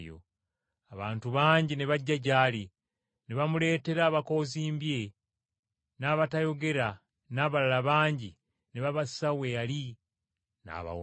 Abantu bangi ne bajja gy’ali, ne bamuleetera, abakoozimbye, n’abatayogera n’abalala bangi ne babassa we yali n’abawonya.